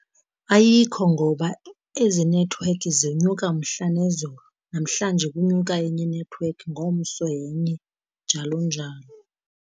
Ayikho, ngoba ezi nethiwekhi zinyuka mhla nezolo. Namhlanje kunyuka enye inethiwekhi, ngomso yenye, njalo njalo.